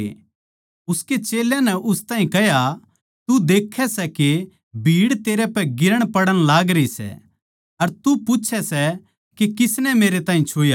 उसके चेल्यां नै उस ताहीं कह्या तू देखै सै के भीड़ तेरपै गिरणपड़ण लागरी सै अर तू पूच्छै सै के किसनै मेरै ताहीं छुया